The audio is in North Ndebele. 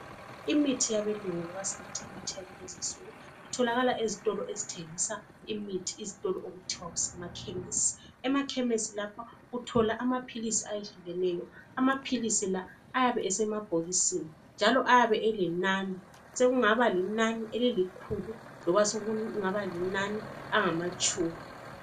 Imithi yabelungu loba singathi imithi yakulezinsuku itholakala ezitolo ezithengisa imithi izitolo okuthiwa kusemakhemisi. Emakhemisi lapha uthola amaphisili ayehlukeneyo. Amaphilisi la ayabe esemabhokisini njalo ayabe elenani. Sokungaba linani elilikhulu loba sokungaba linani angamatshumi.